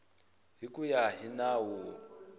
hi ku ya hi nawu